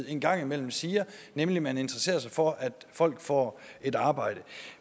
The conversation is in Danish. en gang imellem siger nemlig at man interesserer sig for at folk får et arbejde